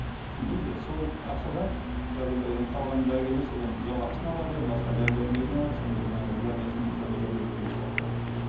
түсіндіңіз бе сол ақшадан қазір қалған дәрігерлер содан жалақысын алады басқа дәрі дәрмегін алады сондай жаңағы зданиесін содержать етеді деген сияқты м